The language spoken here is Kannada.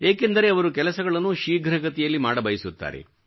ಏಕೆಂದರೆ ಅವರು ಕೆಲಸಗಳನ್ನು ಶೀಘ್ರಗತಿಯಲ್ಲಿ ಮಾಡಬಯಸುತ್ತಾರೆ